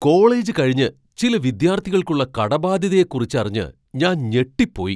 College കഴിഞ്ഞ് ചില വിദ്യാർത്ഥികൾക്കുള്ള കടബാധ്യതയെ കുറിച്ചറിഞ്ഞ് ഞാൻ ഞെട്ടിപ്പോയി.